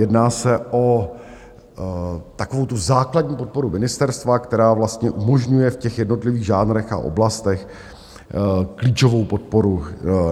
Jedná se o takovou tu základní podporu ministerstva, která vlastně umožňuje v těch jednotlivých žánrech a oblastech klíčovou podporu